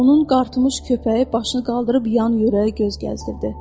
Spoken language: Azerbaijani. Onun qartımış köpəyi başını qaldırıb yan-yörə göz gəzdirdi.